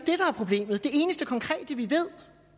er problemet det eneste konkrete vi ved